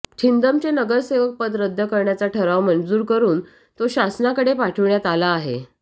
छिंदमचे नगरसेवक पद रद्द करण्याचा ठराव मंजूर करुन तो शासनाकडे पाठविण्यात आला आहे